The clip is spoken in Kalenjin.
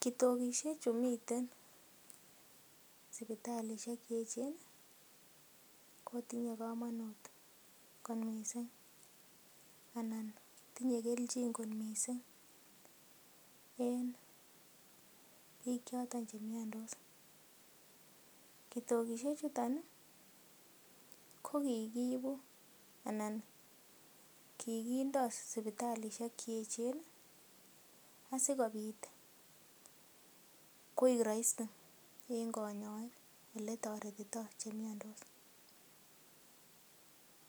Kitokishek chumiten sipitalisiek che eechen kotinye komonut kot mising anan tinye kelchin kot mising en biik choto che miandos. Kitokishek chuton ko kigiibu anan kigindo sipitalisiek ch eeechen asikobit koik rahisi en konyoik ele toretito che miandos.